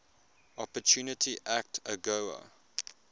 opportunity act agoa